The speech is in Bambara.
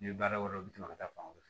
Ni baara wɛrɛw bɛ tɛmɛ ka taa fan fɛ